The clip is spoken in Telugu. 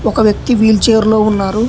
ఒక వ్యక్తి వీల్ చైర్లో ఉన్నారు.